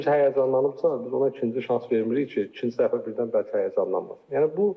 Kimisə həyəcanlanıbsa, biz ona ikinci şans vermirik ki, ikinci dəfə birdən bəlkə həyəcanlanmazsın.